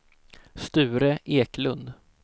Sture Eklund